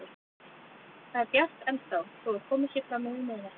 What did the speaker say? Það er bjart ennþá þó að komið sé fram yfir miðnætti.